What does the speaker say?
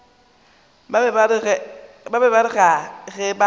be ba re ge ba